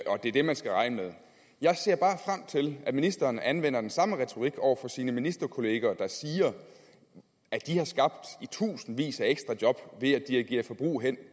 det er det man skal regne med jeg ser bare frem til at ministeren anvender den samme retorik over for sine ministerkollegaer der siger at de har skabt i tusindvis af ekstra job ved at dirigere forbrug hen